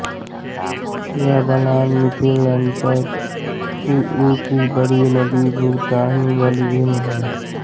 यह बलान मिथिलांचल की ही एक बड़ी नदी भुतहीबलान से भिन्न है